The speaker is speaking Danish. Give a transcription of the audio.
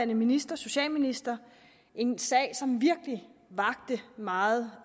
minister socialminister en sag som virkelig vakte meget